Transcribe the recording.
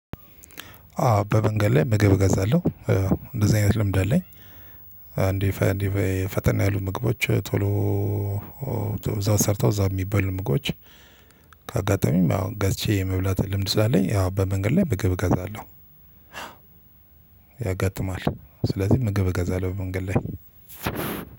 አዎ በመንገድ ላይ ምግብ እገዛለሁ። እንደዚህ አይነት ልምድ አለኝ። እንዴ ፈጠን ያሉ ምግቦች ቶሎ እዛው ሰርተው እዛው የሚበሉ ምግቦች አጋጣሚም አሁን ገዝቸ የመብላት እድሉ ስላለኝ፤ በመንገድ ላይ ምግብ እገዛለሁ። ያጋጥማል ስለዚህ ምግብ እገዛለሁ። በመንገድ ላይ